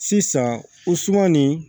Sisan o suman nin